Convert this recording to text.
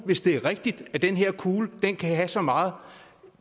hvis det er rigtigt at den her kugle kan have så meget